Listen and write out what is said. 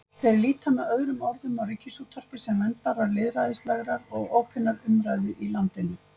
Þeir líta með öðrum orðum á Ríkisútvarpið sem verndara lýðræðislegrar og opinnar umræðu í landinu.